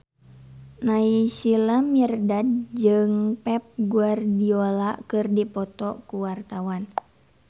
Naysila Mirdad jeung Pep Guardiola keur dipoto ku wartawan